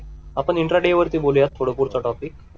आपण इंट्राडे वरती बोलूया थोडा पुढचा टॉपिक